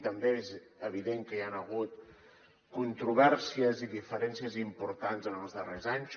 també és evident que hi han hagut controvèrsies i diferències importants en els darrers anys